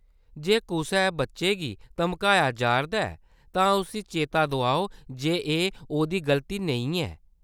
जे कुसै बच्ची गी धमकाया जा’रदा ऐ, तां उसी चेता दोआओ जे एह्‌‌ ओह्‌‌‌दी गल्ती नेईं ऐ।